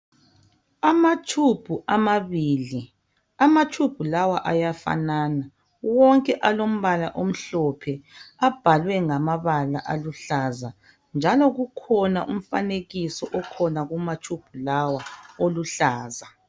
Ama tshubhu amabili, amatshubhu lawa ayafanana wonke alombala omhlophe abhalwe ngamabala aluhlaza njalo kukhona umfanekiso okhona kumatshubhu lawa oluhlaza.